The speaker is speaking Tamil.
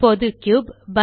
இப்போது கியூப்